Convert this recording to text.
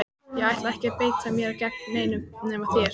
Ég ætla ekki að beita mér gegn neinum nema þér!